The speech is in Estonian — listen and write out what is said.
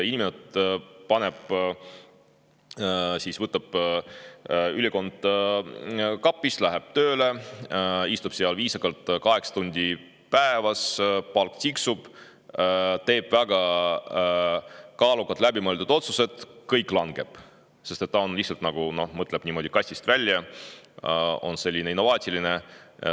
Inimene võtab kapist ülikonna, paneb, läheb tööle, istub seal viisakalt kaheksa tundi päevas, palk tiksub, teeb väga kaalukad, läbimõeldud otsused, aga kõik langeb, sest ta mõtleb kastist välja, on innovaatiline.